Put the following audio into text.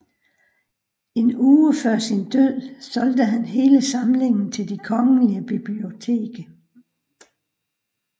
En uge før sin død solgte han hele samlingen til Det Kongelige Bibliotek